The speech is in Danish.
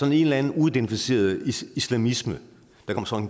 en eller anden uidentificeret islamisme